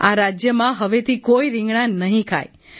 આ રાજ્યમાં હવેથી કોઈ રિંગણાં નહીં ખાય